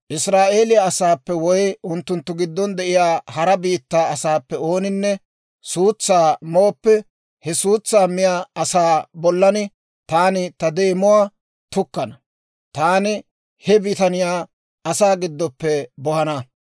« ‹Israa'eeliyaa asaappe woy unttunttu giddon de'iyaa hara biittaa asaappe ooninne suutsaa mooppe, he suutsaa miyaa asaa bollan taani ta deemuwaa tukkana; taani he bitaniyaa asaa giddon bohana.